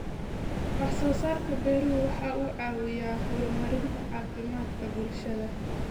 Wax soo saarka beeruhu waxa uu caawiyaa horumarinta caafimaadka bulshada.